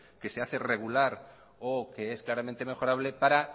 que se hace regular o que es claramente mejorable para